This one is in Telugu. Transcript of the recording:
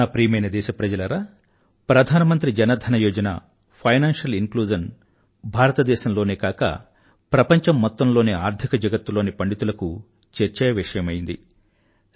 నా ప్రియమైన దేశప్రజలారా ప్రధానమంత్రి జన ధన యోజన ఫైనాన్షియల్ ఇంక్లూజన్ భారతదేశం లోనే కాక ప్రపంచం మొత్తం లోని ఆర్థిక జగత్తులోని పండితులకు చర్చావిషయమైంది